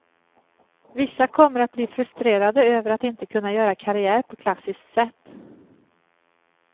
Vissa kommer att bli frustrerade över att inte kunna göra karriär på klassiskt sätt.